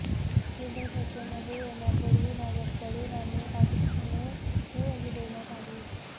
केंद्रात सत्तेमध्ये येण्यापूर्वी भाजपकडून अनेक आश्वासने देण्यात आली होती